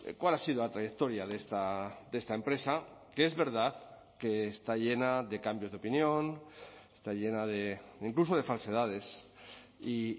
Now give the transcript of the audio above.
cuál ha sido la trayectoria de esta empresa que es verdad que está llena de cambios de opinión está llena de incluso de falsedades y